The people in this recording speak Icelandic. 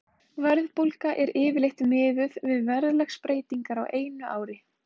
Verðbólga er yfirleitt miðuð við verðlagsbreytingar á einu ári.